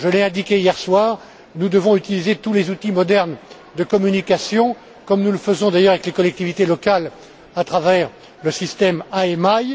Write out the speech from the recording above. Je l'ai indiqué hier soir, nous devons utiliser tous les outils modernes de communication, comme nous le faisons d'ailleurs avec les collectivités locales à travers le système IMI.